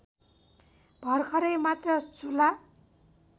भर्खरै मात्र झुला